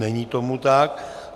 Není tomu tak.